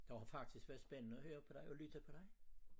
Det har faktisk været spændende at høre på dig og lytte på dig